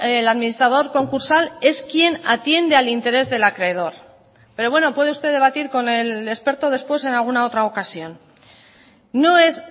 el administrador concursal es quien atiende al interés del acreedor pero bueno puede usted debatir con el experto después en alguna otra ocasión no es